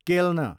केल्न